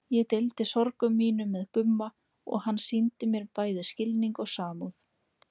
Ég deildi sorgum mínum með Gumma og hann sýndi mér bæði skilning og samúð.